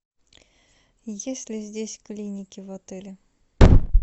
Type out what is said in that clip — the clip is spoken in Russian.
есть ли здесь клиники в отеле